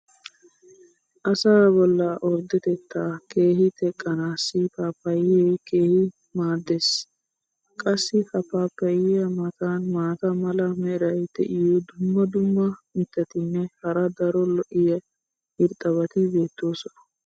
asaa bollaa orddetettaa keehi teqqanaassi paappayee keehi maadees. qassi ha paappayiya matan maata mala meray diyo dumma dumma mitatinne hara daro lo'iya irxxabati beetoosona.